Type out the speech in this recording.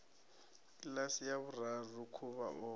kiḽasi ya vhuraru khuvha o